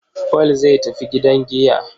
Paul zai tafi gidan giya.